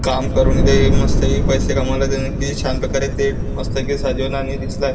काम करून इथे मस्तपैकी पैसा कमवले त्यानी किती छान प्रकारे ते मस्त पैकी सजवून आणि दिसलाय.